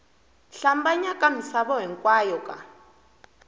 hlambanya ka misava hinkwayo ka